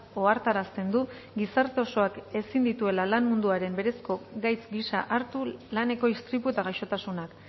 ohartarazten du gizarte osoak ezin dituela lan munduaren berezko gaitz gisa hartu laneko istripu eta gaixotasunak